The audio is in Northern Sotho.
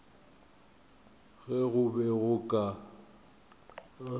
ge go be go ka